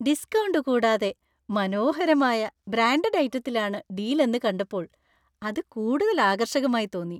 Discount കൂടാതെ മനോഹരമായ, branded ഐറ്റത്തിലാണ് ഡീൽ എന്ന് കണ്ടപ്പോൾ അത് കൂടുതൽ ആകർഷകമായി തോന്നി.